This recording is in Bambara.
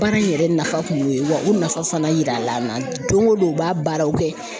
Baara in yɛrɛ nafa kun y'o ye wa o nafa fana yira la don o don u b'a baaraw kɛ.